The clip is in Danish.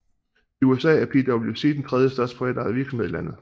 I USA er PwC den tredje største privatejede virksomhed i landet